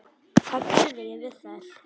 Hvað ég geri við þær?